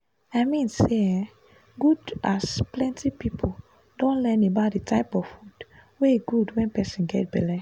i mean saye good as plenty people don learn about the type of food wey good wen person get belle